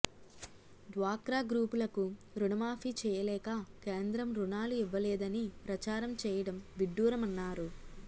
డ్వాక్రా గ్రూపులకు రుణమాఫీ చేయలేక కేంద్రం రుణాలు ఇవ్వలేదని ప్రచారం చేయడం విడ్డూరమన్నారు